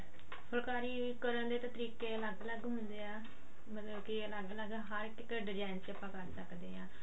ਫੁੱਲਕਾਰੀ ਕਰਣ ਦੇ ਤਾਂ ਤਰੀਕੇ ਅਲਗ ਅਲਗ ਹੁੰਦੇ ਆਂ ਮਤਲਬ ਕਿ ਅਲਗ ਅਲਗ ਹਰ ਇੱਕ design ਚ ਆਪਾਂ ਕਰ ਸਕਦੇ ਆਂ